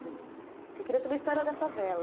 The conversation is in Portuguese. Porque eu queria saber a história da favela.